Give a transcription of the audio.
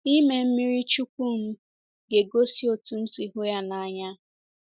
Ịme mmiri chukwu m ga-egosi otú m si hụ ya n’anya.